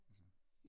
Altså